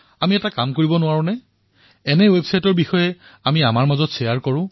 আমি এনেকুৱা কাম কৰিব নোৱাৰো নে এনে এক ৱেবছাইটৰ বিষয়ে নিজৰ মাজত শ্বেয়াৰ কৰক